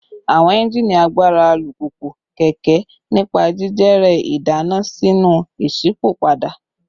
Awọn engine agbara alupupu / keke nipa jijere idana sinu išipopada